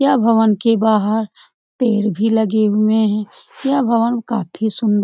यह भवन के बाहर पेड़ भी लगे हुए हैं। यह भवन काफी सुंदर --